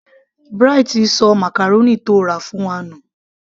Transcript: Bright sọ màcàrónì tó rà fún wa nù